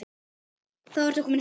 Þá ertu kominn heim.